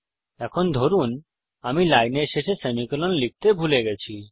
এখন ধরুন এখানে আমি লাইনের শেষে সেমিকোলন লিখতে ভুলে গেছি